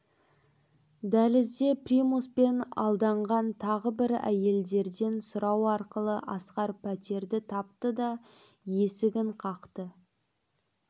дәлізде примуспен алданған тағы бір әйелдерден сұрау арқылы асқар пәтерді тапты да есігін қақты